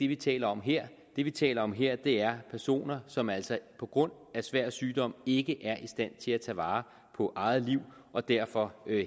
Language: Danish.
vi taler om her det vi taler om her er personer som altså på grund af svær sygdom ikke er i stand til at tage vare på eget liv og derfor